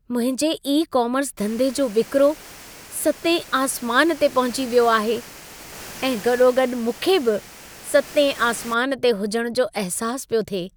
मुंहिंजे ई-कोमर्स धंधे जो विक्रो सतें आसमान ते पहुची वयो आहे ऐं गॾो-गॾु मूंखे बि सतें आसमान ते हुजण जो अहिसास पियो थिए।